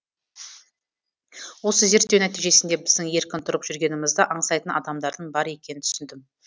осы зерттеу нәтижесінде біздің еркін тұрып жүргенімізді аңсайтын адамдардың бар екенін түсіндім